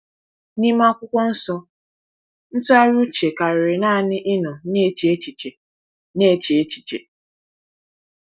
N’ime Akwụkwọ Nsọ, ntụgharị uche karịrị naanị ịnọ na-eche echiche. na-eche echiche.